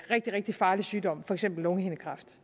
rigtig rigtig farlig sygdom for eksempel lungehindekræft